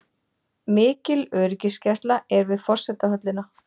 Mikil öryggisgæsla er við forsetahöllina